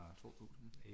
2000